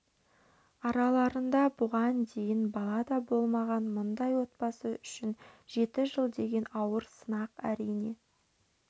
араларында бұған дейін бала да болмаған мұндай отбасы үшін жеті жыл деген ауыр сынақ әрине